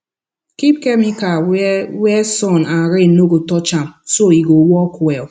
keep chemical where where sun and rain no go touch am so e go work well